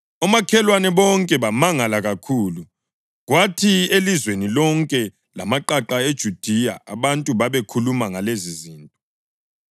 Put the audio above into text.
Omakhelwane bonke bamangala kakhulu, kwathi elizweni lonke lamaqaqa eJudiya abantu babekhuluma ngalezizinto.